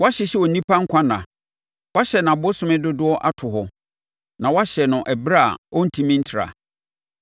Woahyehyɛ onipa nkwa nna; woahyɛ nʼabosome dodoɔ ato hɔ na woahyɛ no ɛberɛ a ɔrentumi ntra.